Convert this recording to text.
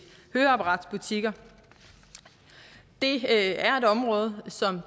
høreapparatsbutikker det er et område som